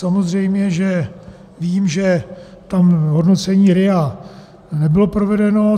Samozřejmě že vím, že tam hodnocení RIA nebylo provedeno.